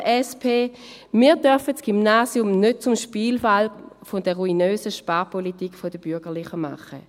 Wir dürfen das Gymnasium nicht zum Spielball der ruinösen Sparpolitik der Bürgerlichen machen.